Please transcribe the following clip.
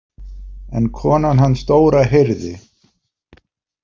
En konan hans Dóra heyrði.